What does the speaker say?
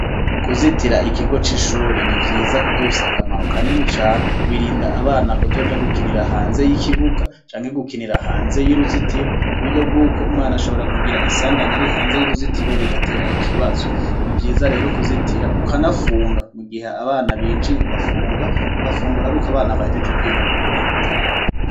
Kuzitira ikigo c'ishure ni vyiza kuko bifise akamaro kanini cane birinda abana kuzoja gukinira hanze y'ikibuga canke gukinira hanze y'uruzitiro ku buryo bw'uko umwana ashobora kugira isanganya ari hanze y'uruzitiro bigatera ikibazo. Ni vyiza rero kuzitira ukanafunga mu gihe abana binjiye ugafunga ugafungura ari uko abana bahegeje kwiga bakeneye gutaha.